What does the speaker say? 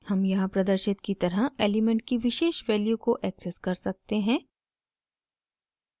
हम यहाँ प्रदर्शित की तरह एलिमेंट की विशेष वैल्यू को एक्सेस कर सकते हैं